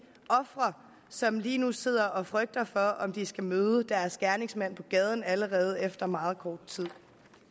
ofre som lige nu sidder og frygter for om de skal møde deres gerningsmand på gaden allerede efter meget kort tid